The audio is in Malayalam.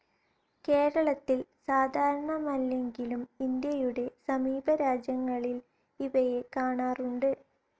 കേരളത്തിൽ സാധാരണമല്ലെങ്കിലും ഇന്ത്യയുടെ സമീപ രാജ്യങ്ങളിൽ ഇവയെ കാണാറുണ്ട്.